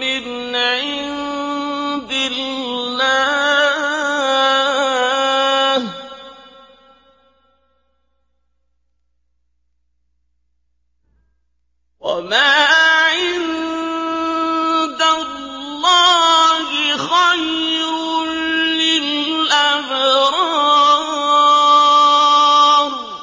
مِّنْ عِندِ اللَّهِ ۗ وَمَا عِندَ اللَّهِ خَيْرٌ لِّلْأَبْرَارِ